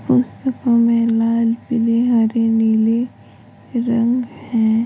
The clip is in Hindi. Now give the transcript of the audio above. उस में लाल पीले हरे नीले रंग है।